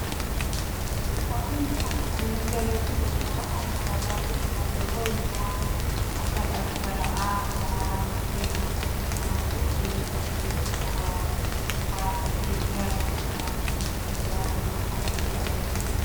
Fakkiin kun kan nutti agarsiisu, suuraa konkolaataa fe'isaa yeroo inni waan akka dhangala'aa boba yookiin immoo bishaan fe'atee bakkee tokko irraa waraabbatee gara bakka biraatti socho'u yookaan immoo deemudha kan nuti arginu.